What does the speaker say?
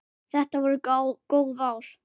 Þetta voru góð ár.